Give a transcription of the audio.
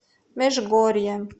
межгорье